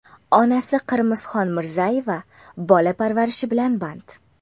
Onasi Qirmizxon Mirzayeva bola parvarishi bilan band.